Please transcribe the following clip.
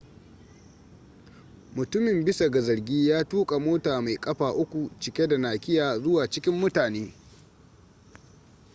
mutumin bisa ga zargi ya tuka mota mai kafa uku cike da nakiya zuwa cikin mutane